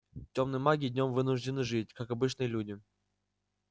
тёмные маги днём вынуждены жить как обычные люди